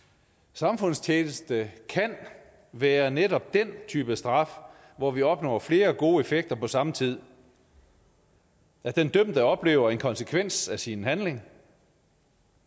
samfundstjeneste kan være netop den type straf hvor vi opnår flere gode effekter på samme tid den dømte oplever en konsekvens af sin handling